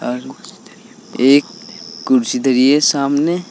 एक कुर्सी धारी है सामने।